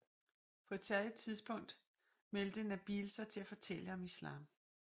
På et tidspunkt meldte Nabeel sig til at fortælle om islam